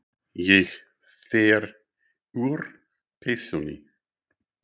Ég fer úr peysunni.